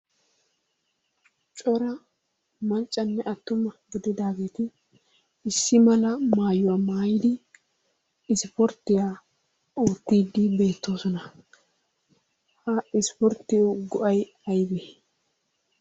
Cora maccanne attuma gididaageeti issi mala maayuwa maayidi isipporttiya oottiiddi beettoosona. Ha isipporttiyawu go'ay aybee?